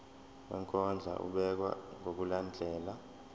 wokondla ubekwa ngokulandlela